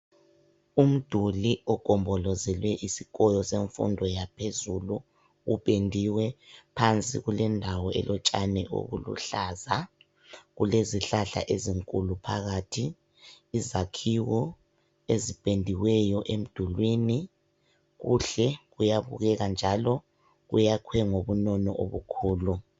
Umduli ogombolozele isikolo semfundo yaphezulu, upendiwe phansi kulendawo elotshani obuluhlaza, kulezihlahla ezinkulu phakathi. Izakhiwo ezipendiweyo emdulwini kuhle kuyabukeka njalo kuyakhwe ngobunono obukhulu.